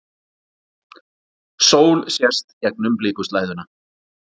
Sól sést gegnum blikuslæðuna.